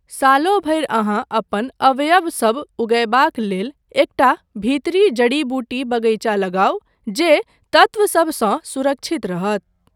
सालो भरि अहाँ अपन अवयवसब उगयबाक लेल एकटा भीतरी जड़ी बूटी बगैचा लगाउ जे तत्वसभसँ सुरक्षित रहत।